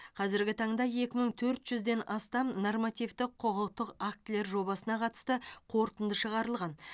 қазіргі таңда екі мың төрт жүзден астам нормативті құқықтық актілер жобасына қатысты қорытынды шығарылған